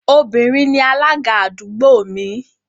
Obìnrin ni alága àdúgbò mi